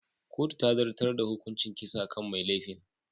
Kotu ta zartar da hukuncin kisa kan mai laifin.